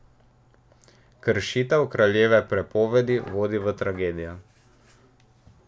Kršitev kraljeve prepovedi vodi v tragedijo.